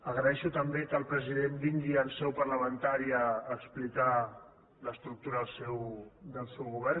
agraeixo també que el president vingui en seu parlamentària a explicar l’estructura del seu govern